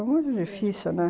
Foi muito difícil, né?